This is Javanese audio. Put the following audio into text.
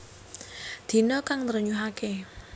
Dina kang nrenyuhaké